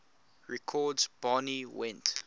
records barney went